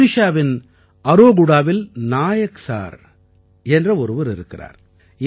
ஒடிஷாவின் அராகுடாவில் நாயக் சார் என்ற ஒருவர் இருக்கிறார்